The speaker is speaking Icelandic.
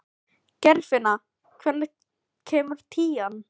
Geirfinna, hvenær kemur tían?